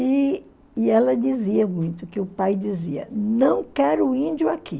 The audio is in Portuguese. E e ela dizia muito, que o pai dizia, não quero índio aqui.